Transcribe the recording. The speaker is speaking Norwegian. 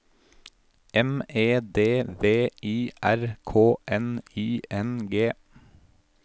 M E D V I R K N I N G